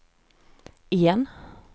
igen